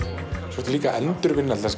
svo ertu líka að endurvinna til